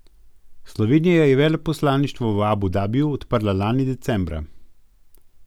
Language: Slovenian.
Slovenija je veleposlaništvo v Abu Dabiju odprla lani decembra.